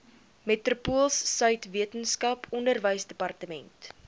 metropoolsuid weskaap onderwysdepartement